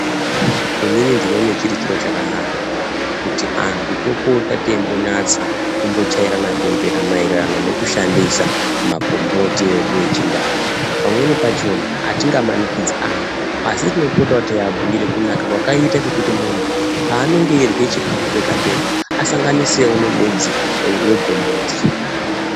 Inini ndinoone chiri chiro chakanaka kuti anthu topota teimbonyatsa kumbochairana bembera maererano nekushandisa magomboti edu echindau. Pamweni pachona atingamanikidzi anthu, asi tinopotawo teiabhuire kunaka kwakaite kuti munhu pavanenge eirye chikafu pega- pega asanganisewo nemudzi wegomboti.